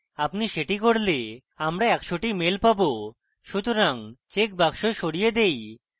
আপনি সেটি করলে আমরা একশোটি mails পাবো সুতরাং চেকমার্ক সরিয়ে দেই